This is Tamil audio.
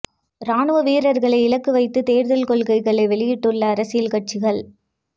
இராணுவ வீரர்களை இலக்கு வைத்து தேர்தல் கொள்கைகளை வெளியிட்டுள்ள அரசியல் கட்சிகள்